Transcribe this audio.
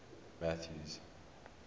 mathews